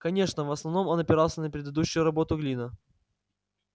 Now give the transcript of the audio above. конечно в основном он опирался на предыдущую работу глина